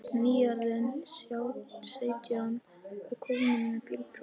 Nýorðinn sautján og kominn með bílpróf.